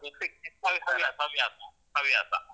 ಹವ್ಯಾಸ. ಹವ್ಯಾಸ.